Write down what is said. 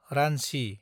Ranchi